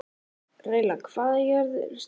Reyla, hvað er jörðin stór?